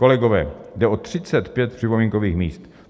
Kolegové, jde o 35 připomínkových míst.